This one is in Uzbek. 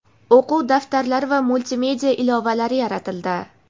o‘quv daftarlari va multimedia ilovalari yaratildi.